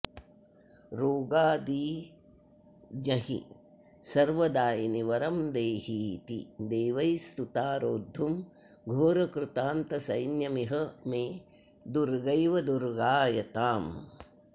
रोगादीञ्जहि सर्वदायिनि वरं देहीति दैवैः स्तुता रोद्धुं घोरकृतान्तसैन्यमिह मे दुर्गैव दुर्गायताम्